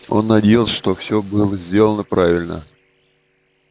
он надеялся что всё было сделано правильно